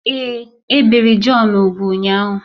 Èé, e biri Jọn úgwù ụnyahụ